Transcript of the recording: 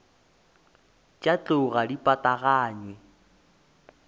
tša tlou ga di pataganywe